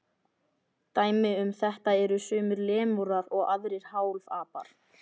Dæmi um þetta eru sumir lemúrar og aðrir hálfapar.